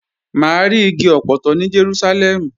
Mà á ri igi ọpọtọ ní Jerúsálẹ́mù